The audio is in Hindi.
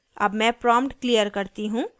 अब मैं prompt clear करती हूँ